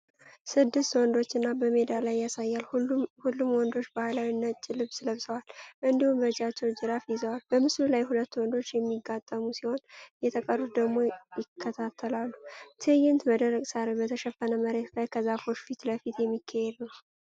ስድስት ወንዶችን በሜዳ ላይ ያሳያል። ሁሉም ወንዶች ባህላዊ ነጭ ልብስ ለብሰዋል እንዲሁም በእጃቸው ጅራፍ ይዘዋል። በምስሉ ላይ ሁለቱ ወንዶች የሚጋጠሙ ሲሆን የተቀሩት ደግሞ ይከታተላሉ። ትዕይንቱ በደረቅ ሳር በተሸፈነ መሬት ላይ ከዛፎች ፊት ለፊት የሚካሄድ ነው